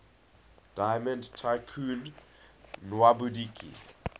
diamond tycoon nwabudike